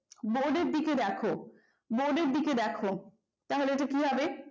বোর্ডের দিকে দেখো বোর্ডের দিকে দেখো তাহলে এটা কি হবে